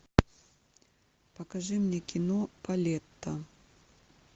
покажи мне кино полетта